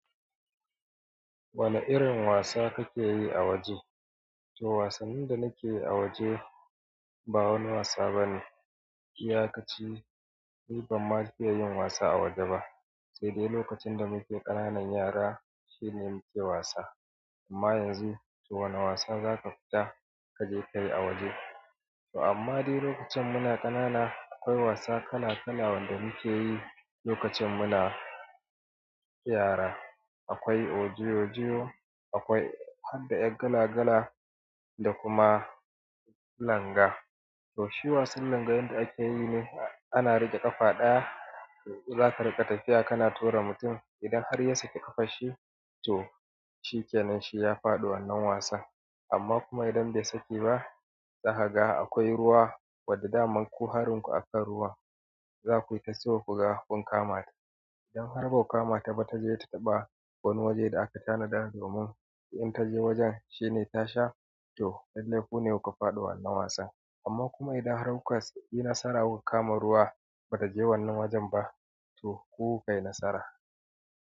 Wane irin wasa kake yi a waje? To wasannin da nake yi a waje ba wani wasa bane. Iya ka ce "ni ban ma fiya yin wasa a waje ba, sai dai lokacin da muke ƙananan yara shine muke wasa. Amma yanzu to wane wasa za ka fita kaje kayi a waje?" To amma dai lokacin muna ƙanana akwai wasa kala-kala wanda muke yi lokacin muna yara. Akwai odiyojiyo akwai hadda yar galagala da kuma langa. To shi wasan langa wanda akeyi ne ana riƙe ƙafa ɗaya, zaka riƙa tafiya kana tura mutum. Idan har ya saki ƙafashi, to shikenan shi ya faɗi wannan wasan. Amma kuma idan bai saki ba, zakaga akwai ruwa wadda daman kuharunku akan ruwa. Zakuyi ta so kuga kun kamata. Idan har ba ku kama ta ba, taje ta ɓa wani waje da aka tanada domin idan taje wajen shine ta sha, to lallai ku ne kuka faɗi wannan wasan. Amma kuma idan har kuka yi nasara gun kama ruwa ba ka je wannan wajen ba, to ku ku kai nasara.